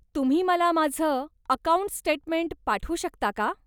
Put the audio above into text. तुम्ही मला माझं अकाऊंट स्टेटमेंट पाठवू शकता का?